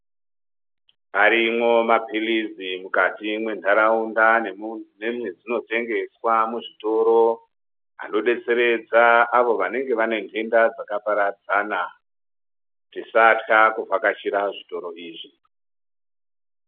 Arimwo mapilizi mukati mwentaraunda nemwe nemwe dzinotengeswa muzvitoro anodetseredza avo vanenge vane ntenda dzakaparadzana tisatka kuvhakachira zvitoro izvi.